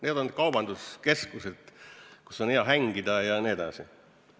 Need on kaubanduskeskused, kus on hea hängida jne.